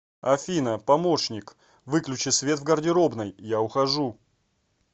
афина помощник выключи свет в гардеробной я ухожу